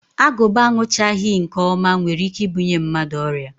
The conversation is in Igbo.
Agụba aṅụchaghị nke ọma nwere ike ibunye mmadụ ọrịa